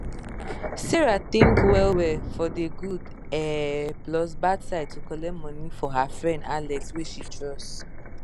sarah think well well for de good um plus bad side to collect money for her friend alex wey she trust